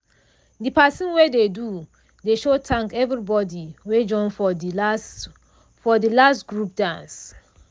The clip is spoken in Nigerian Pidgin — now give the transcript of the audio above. de person wey do de show thank everybody wey join for de last for de last group dance.